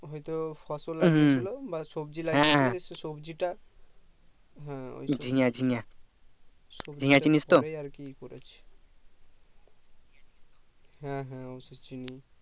হয় তো ফসল লাগছিলো বা সবজি লাগছিলো সবজি টা হম ঝিঙে ঝিঙে ঝিঙে চিনিস তো হ্যাঁ হ্যাঁ চিনি